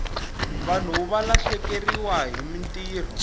vanhu va lahlekeriwahi mintirho